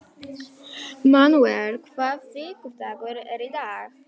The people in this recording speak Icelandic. Manúel, hvaða vikudagur er í dag?